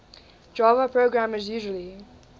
java programmers usually